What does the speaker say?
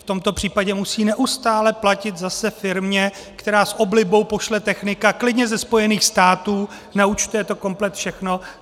V tomto případě musí neustále platit zase firmě, která s oblibou pošle technika klidně ze Spojených států, naúčtuje to komplet všechno.